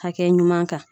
Hakɛ ɲuman kan